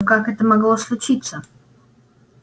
но как это могло случиться